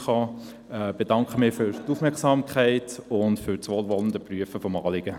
Ich danke für die Aufmerksamkeit und das wohlwollende Prüfen des Anliegens.